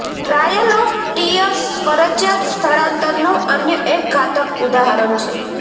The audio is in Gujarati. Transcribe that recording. ટ્રાયલ ઓફ ટિયર્સ ફરજિયાત સ્થળાંતરનું અન્ય એક ઘાતક ઉદાહરણ છે